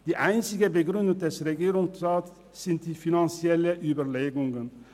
Die einzigen Begründungen des Regierungsrats sind finanzielle Überlegungen.